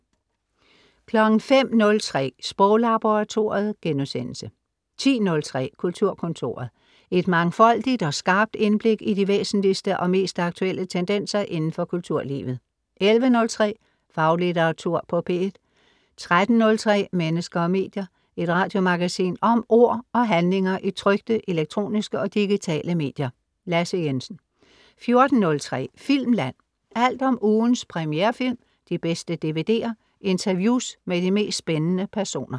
05.03 Sproglaboratoriet* 10.03 Kulturkontoret. Et mangfoldigt og skarpt indblik i de væsentligste og mest aktuelle tendenser indenfor kulturlivet 11.03 Faglitteratur på P1 13.03 Mennesker og medier. Et radiomagasin om ord og handlinger i trykte, elektroniske og digitale medier. Lasse Jensen 14.03 Filmland. Alt om ugens premierefilm, de bedste DVD'er, interviews med de mest spændende personer